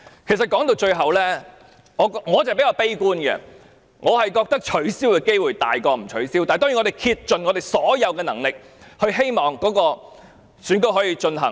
其實，說到底，我是比較悲觀的，我認為今次選舉取消的機會比較大，但當然我們會竭盡所能，希望選舉可以進行。